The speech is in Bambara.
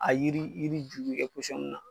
A yiri yiri juru bɛ kɛ mun na